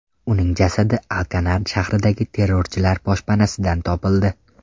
Uning jasadi Alkanar shahridagi terrorchilar boshpanasidan topildi.